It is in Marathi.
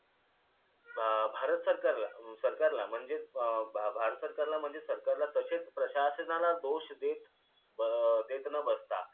अं भारत सरकारला सरकारला म्हणजेच अं भारत सरकारला म्हणजेच सरकारला तसेच प्रशासनाला दोष देत अं देत न बसता